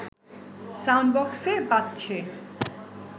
sound বক্সে বাজছে